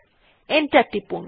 enter টিপলাম